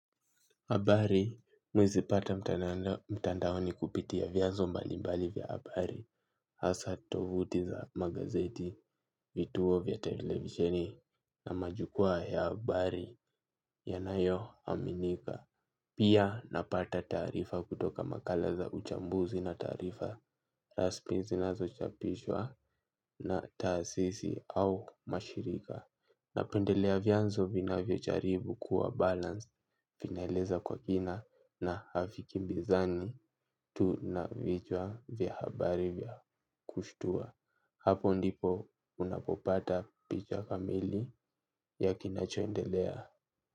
Habari mimi huzipata mtandaoni kupitia vyanzo mbalimbali vya habari. Hasa tovuti za magazeti vituo vya televisheni na majukwaa ya habari yanayoaminika. Pia napata taarifa kutoka makala za uchambuzi na taarifa rasmi zinazochapishwa na taasisi au mashirika. Napendelea vyanzo vinavyojaribu kuwa balanced vinaeleza kwa kina na havikimbizani tu na vichwa vya habari vya kushtua. Hapo ndipo unapopata picha kamili ya kinachoendelea.